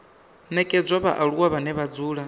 nekedzwa vhaaluwa vhane vha dzula